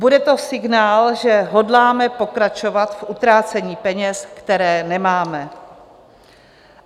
Bude to signál, že hodláme pokračovat v utrácení peněz, které nemáme.